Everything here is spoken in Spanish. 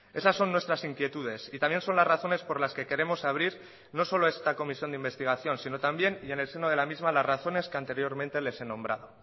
esas son nuestras inquietudes y también son las razones por las que queremos abrir no solo esta comisión de investigación sino también y en el seno de la misma las razones que anteriormente les he nombrado